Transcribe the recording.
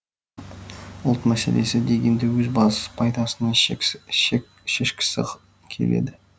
ұлт мәселесі дегенді өз бас пайдасына шешкісі келеді